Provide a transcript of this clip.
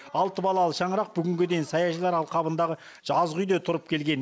алты балалы шаңырақ бүгінге дейін саяжайлар алқабындағы жазғы үйде тұрып келген